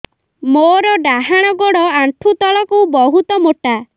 ମୋର ଡାହାଣ ଗୋଡ ଆଣ୍ଠୁ ତଳୁକୁ ବହୁତ ମୋଟା